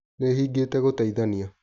Nĩhingĩte gũteithania.